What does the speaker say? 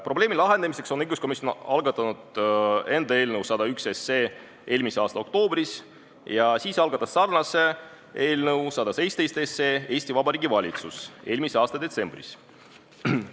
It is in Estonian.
Probleemi lahendamiseks algatas õiguskomisjon eelmise aasta oktoobris eelnõu 101 ja seejärel algatas sarnase eelnõu 117 ka Vabariigi Valitsus, see oli eelmise aasta detsembris.